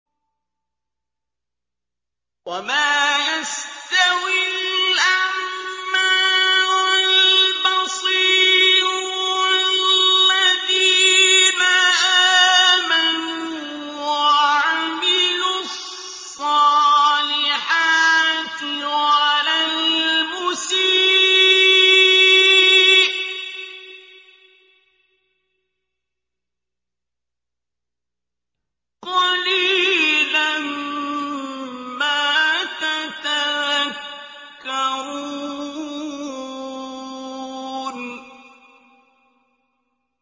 وَمَا يَسْتَوِي الْأَعْمَىٰ وَالْبَصِيرُ وَالَّذِينَ آمَنُوا وَعَمِلُوا الصَّالِحَاتِ وَلَا الْمُسِيءُ ۚ قَلِيلًا مَّا تَتَذَكَّرُونَ